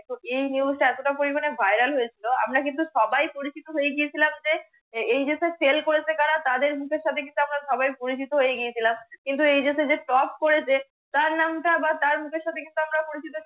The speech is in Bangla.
তো এই NEWS এতটা পরিমানে VIRAL হয়েছিল আমরা কিন্তু সবাই পরিচিত হয়েগিয়েছিলাম যে এই যে SALE কারা তাদের মুখের সাথে কিন্তু আমরা সবাই পরিচিত হয়ে গিয়েছিলাম, কিন্তু এই যে সে যে টপ করে তার নামটা বা তার মুখের সাথে আমরা পরিচিত